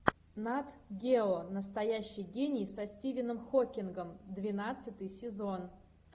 нат гео настоящий гений со стивеном хокингом двенадцатый сезон